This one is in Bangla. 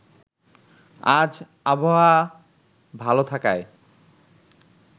আজ আবহাওয়া ভালো থাকায়